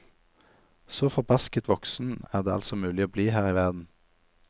Så forbasket voksen er det altså mulig å bli her i verden.